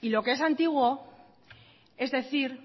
y lo que es antiguo es decir